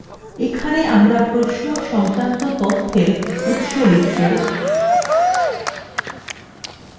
এখানে আমরা প্রশ্ন সংক্রান্ত তথ্যের উৎস লিখব